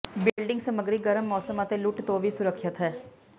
building ਸਮਗਰੀ ਗਰਮ ਮੌਸਮ ਅਤੇ ਲੁੱਟ ਤੋਂ ਵੀ ਸੁਰੱਖਿਅਤ ਹੈ